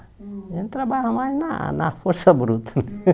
A gente trabalhava mais na na força bruta.